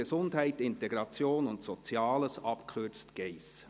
Gesundheit, Integration und Soziales», abgekürzt «Geiss».